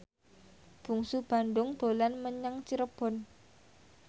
Bungsu Bandung dolan menyang Cirebon